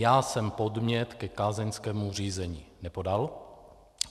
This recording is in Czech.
Já jsem podnět ke kázeňskému řízení nepodal.